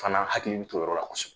Fana hakilini t'o yɔrɔ la kosɛkɛ